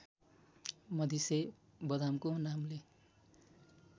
मधिसे बदामको नामले